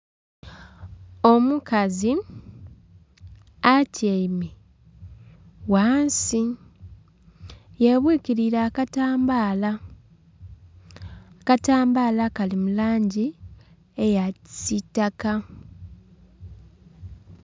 Omukazi atyaime ghansi ye bwikieire akatambala, akatambala kali mu langi eya kisitaka.